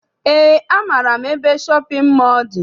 Eé, amaara m ebe shọpịn mọọ dị.